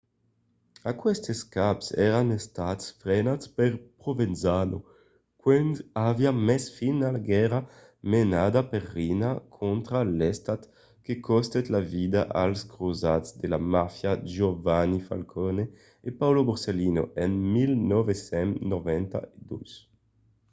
aquestes caps èran estats frenats per provenzano quand aviá mes fin a la guèrra menada per riina contra l'estat que costèt la vida als crosats de la màfia giovanni falcone e paolo borsellino en 1992.